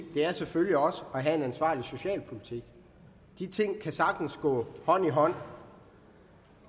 selvfølgelig også er at have en ansvarlig socialpolitik de ting kan sagtens gå hånd i hånd